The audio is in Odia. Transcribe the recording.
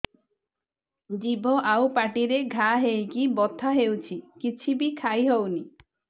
ଜିଭ ଆଉ ପାଟିରେ ଘା ହେଇକି ବଥା ହେଉଛି କିଛି ବି ଖାଇହଉନି